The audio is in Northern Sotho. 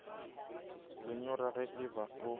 lenyora ge e ba o